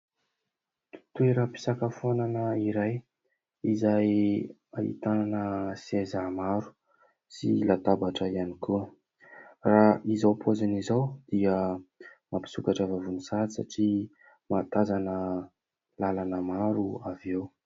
Toeram-pisakafoanana iray izay ahitana seza maro sy latabatra ihany koa. Raha izao paoziny izao dia mampisokatra vavony sahady, satria mahatazana làlana maro avy eo.